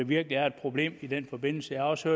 virkelig er et problem i den forbindelse jeg har også